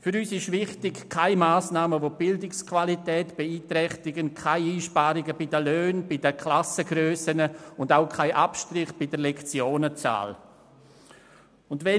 Für uns ist es wichtig, keine Massnahmen zu treffen, die die Bildungsqualität beeinträchtigen, indem bei den Löhnen gespart wird, die Klassen vergrössert werden müssen oder Abstriche bei der Lektionenzahl erforderlich machen.